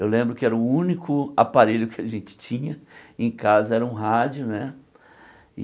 Eu lembro que era o único aparelho que a gente tinha em casa, era um rádio né e.